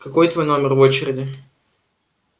какой твой номер в очереди